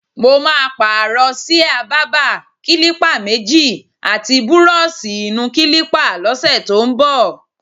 Mo máa pààrò s̩íà bábà, kílípà méjì, àti búró̩ò̩s̩ì-ì-nu-kílípà ló̩sè̩ tó ń bò̩.